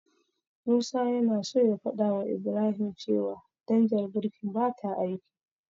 Musa yana so ya fadawa Ibrahim cewa danjar birkin bata aiki.